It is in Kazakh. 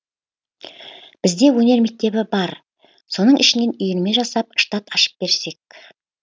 бізде өнер мектебі бар соның ішінен үйірме жасап штат ашып берсек